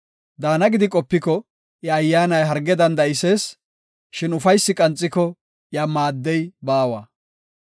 Daana gidi qopiko, iya ayyaanay harge danda7isees; shin ufaysi qanxiko iya maaddey baawa.